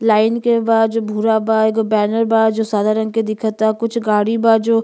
Line के बा जो भूरा बा। एगो बैनर बा जो सादा रंग के दिखता। कुछ गाड़ी बा जो --